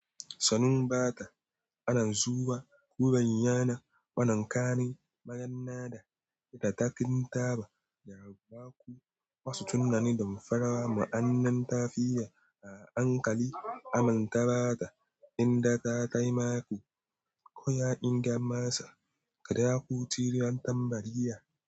Sanin ba ta, ana zuwa kuren yana, wanan kare magan na da ita ta ƙin taba, ya bakku masu tunani don farawa ma'anan tafiya a hankali amintaba ta inda za ta ma ku, ko ya ƙin gama sa kaɗa ku cirion tambariya.